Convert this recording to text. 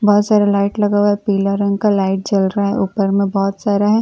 बोहोत सारा लाइट लगा हुआ है पीला रंग का लाइट जल रहा है ऊपर में बोहोत सारा है और तितली--